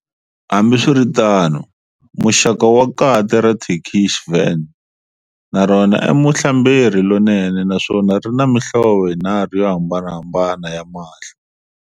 Hambiswiritano, muxaka wa kati ra Turkish Van na rona i muhlamberi lonene naswona rina mihlovo yinharhu yohambanahambana ya mahlo.